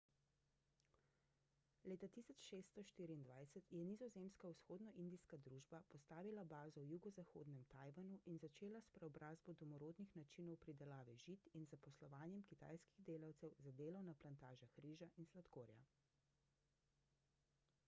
leta 1624 je nizozemska vzhodnoindijska družba postavila bazo v jugozahodnem tajvanu in začela s preobrazbo domorodnih načinov pridelave žit in zaposlovanjem kitajskih delavcev za delo na plantažah riža in sladkorja